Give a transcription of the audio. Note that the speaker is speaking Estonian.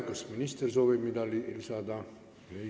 Kas minister soovib midagi lisada?